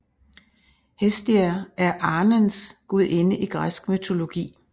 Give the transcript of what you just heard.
Hestia er arnens gudinde i græsk mytologi